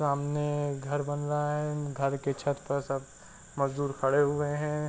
सामने घर बन रहा है। घर की छत पर सब मजदूर खड़े हुए हैं।